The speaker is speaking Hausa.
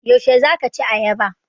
Yaushe za ka ci ayaba?